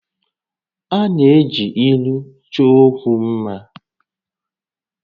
A na-eji ílú chọọ ókwú mmá